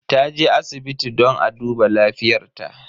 Taje asibiti don a duba lafiyar ta.